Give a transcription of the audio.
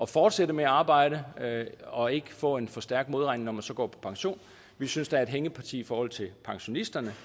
fortsætter med at arbejde og ikke får en for stærk modregning når de så går på pension vi synes der er et hængeparti i forhold til pensionisterne